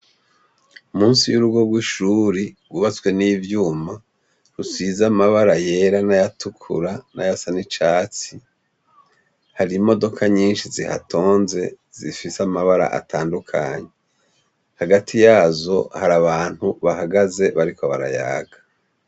Munsi y' urugo rw' ishuri, rwubatswe n' ivyuma, rusize amabara yera, n' ayatukura, n'ayasa n' icatsi, hari imodoka nyinshi zihatonze zifise amabara atandukanye. Hagati yazo, hari abantu bahagaze, bariko barayaga.